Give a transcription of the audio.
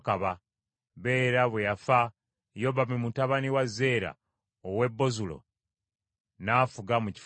Bera bwe yafa Yobabu mutabani wa Zeera ow’e Bozula n’afuga mu kifo kye.